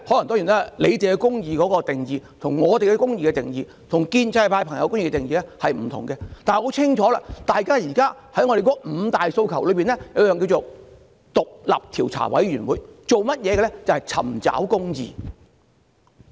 當然，政府對公義的定義，與我們對公義的定義或建制派議員的定義都不盡相同，但很清楚，現時在我們的五大訴求中，其中一點是成立獨立調查委員會，這便是要尋求公義。